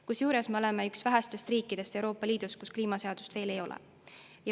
Kusjuures me oleme üks vähestest riikidest Euroopa Liidus, kus kliimaseadust veel ei ole.